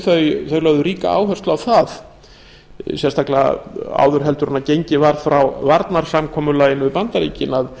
þau lögðu ríka áherslu á það sérstaklega áður en gengið var frá varnarsamkomulaginu við bandaríkin að